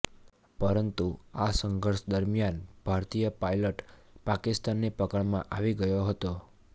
પરંતુ આ સંઘર્ષ દરમિયાન ભારતીય પાયલટ પાકિસ્તાનની પકડમાં આવી ગયો હતો